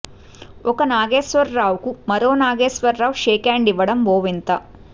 ఒక నాగేశ్వరరావుకు మరో నాగేశ్వరరావు షేక్ హ్యాండ్ ఇవ్వడం ఓ వింత